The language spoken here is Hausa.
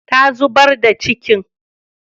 Ta zubar da cikin